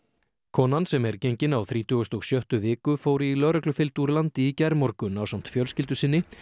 konan sem er gengin á þrítugustu og sjöttu viku fór í lögreglufylgd úr landi í gærmorgun ásamt fjölskyldu sinni